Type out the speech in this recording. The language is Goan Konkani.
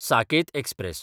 साकेत एक्सप्रॅस